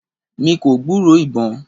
mí kò gburó ibọn